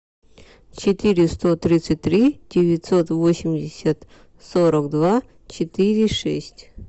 четыреста тридцать три девятьсот восемьдесят сорок два четыре шесть